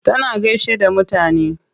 Tana gaishe da mutane.